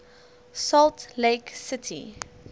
salt lake city